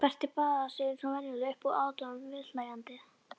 Berti baðaði sig eins og venjulega upp úr aðdáun viðhlæjenda.